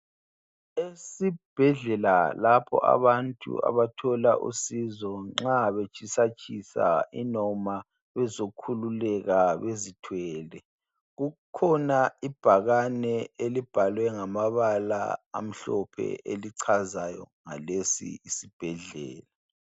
esibhedlela lapho abantu abathola khona usizo nxa betshisa tshisa inoma bezokhululeka bezithwele kukhona ibhakane elibhalwe ngamabala amhlophe elichaza ngalesi isibhedlela